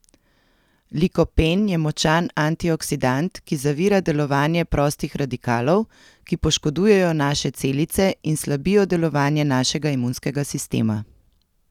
Likopen je močan antioksidant, ki zavira delovanje prostih radikalov, ki poškodujejo naše celice in slabijo delovanje našega imunskega sistema.